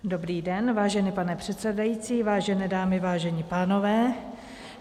Dobrý den, vážený pane předsedající, vážené dámy, vážení pánové.